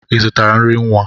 I zụtara nri nwa?